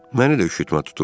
Məni də üşütmə tuturdu.